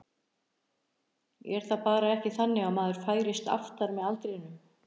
Er það ekki bara þannig að maður færist aftar með aldrinum?